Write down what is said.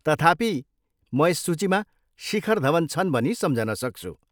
तथापि, म यस सूचीमा शिखर धवन छन् भनी सम्झन सक्छु।